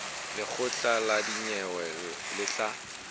lekgotla la dinyewe le tla